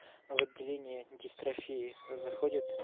а в отделение дистрофии заходит